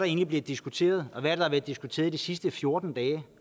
egentlig diskuteret og hvad er der blevet diskuteret de sidste fjorten dage